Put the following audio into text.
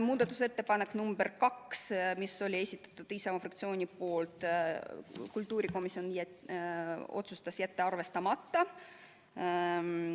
Muudatusettepaneku nr 2, mis oli Isamaa fraktsiooni esitatud, otsustas kultuurikomisjon jätta arvestamata.